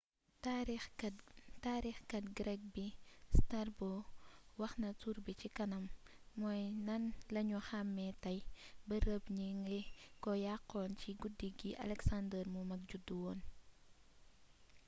taarixkat greek bi strabo waxna turbi ci kanam mooy nan lañu xamé tay bërëb ñi ngi ko yaxxon ci guddi gi alexander mu mag judduwoon